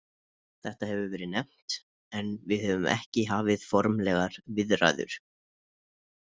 Þetta hefur verið nefnt en við höfum ekki hafið formlegar viðræður.